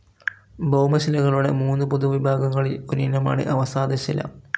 ഭൗമശിലകളുടെ മൂന്നു പൊതുവിഭാഗങ്ങളിൽ ഒരിനമാണ് അവസാദശില.